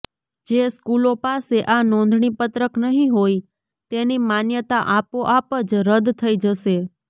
જે સ્કૂલો પાસે આ નોંધણી પત્રક નહીં હોય તેની માન્યતા આપોઆપ જ રદ્દ થઈ જશે